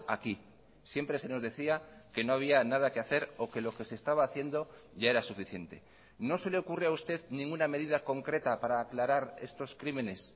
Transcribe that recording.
aquí siempre se nos decía que no había nada que hacer o que lo que se estaba haciendo ya era suficiente no se le ocurre a usted ninguna medida concreta para aclarar estos crímenes